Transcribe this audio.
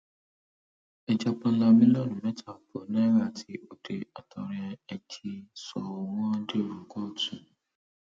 ẹja páńlá mílíọnù mẹta ààbọ náírà tí ọdẹ àtọrẹ ẹ jí sọ wọn dèrò kóòtù